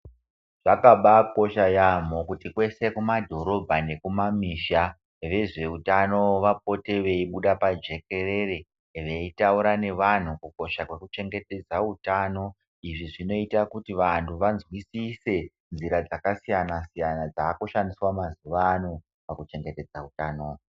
Zvakabakosha yaamho kuti kwese kumadhorobha nekumamusha kuti vezveutano vapote veibuda pajekerere, veitaura nevantu kukosha kwekuchengetedza utano. Izvi zvinoita kuti vantu vazwisise nzira dzakasiyana-siyana dzakushandiswa mazuvano pakuchengetedza utano.